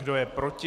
Kdo je proti?